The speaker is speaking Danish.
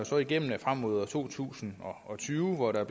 slår igennem frem mod to tusind og tyve og der er